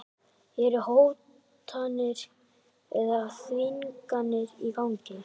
Eru hótanir eða þvinganir í gangi?